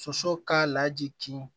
Soso k'a laji kin